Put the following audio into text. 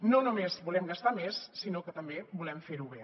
no només volem gastar més sinó que també volem fer ho bé